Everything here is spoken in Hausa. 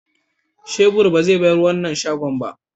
shebur ba zai barin wannan shago ba.